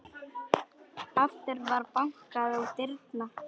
Aftur var bankað á dyrnar.